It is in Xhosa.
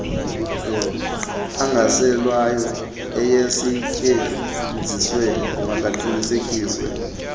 angaselwayo ayesetyenzisiwe makaqinisekise